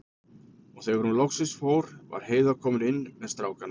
Og þegar hún loksins fór var Heiða komin inn með strákana.